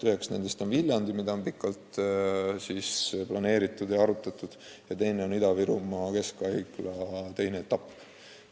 Üks nendest on Viljandi, mille arendamist on pikalt planeeritud ja arutatud, ning teine on Ida-Virumaa Keskhaigla teine etapp.